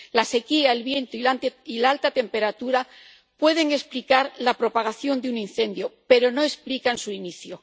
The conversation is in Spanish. La sequía, el viento y la alta temperatura pueden explicar la propagación de un incendio, pero no explican su inicio.